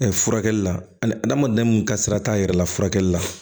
furakɛli la ani adamadenya mun ka sira t'a yɛrɛ la furakɛli la